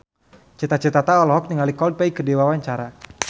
Cita Citata olohok ningali Coldplay keur diwawancara